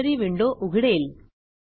library window उघडेल